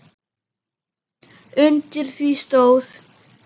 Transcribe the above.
Undir því stóð